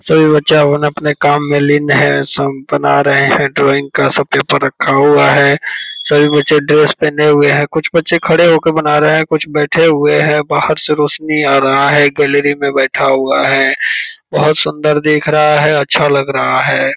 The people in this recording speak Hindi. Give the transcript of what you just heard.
सभी बच्चे अपने-अपने काम में लीन हैं सब बना रहे हैं ड्राइंग का सब पेपर रखा हुआ हैं सभी बच्चे ड्रेस पहने हुए हैं कुछ बच्चे खड़े हो के बना रहे है कुछ बैठे हुए है बाहर से रौशनी आ रहा है गैलरी में बैठा हुआ हैं बहोत सुंदर देख रहा है अच्छा लग रहा है ।